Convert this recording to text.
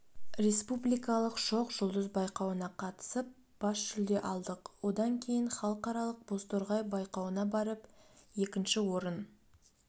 республикалық шоқ жұлдыз байқауына қатысып бас жүлде алдық одан кейін халықаралық бозторғай байқауына барып екінші орын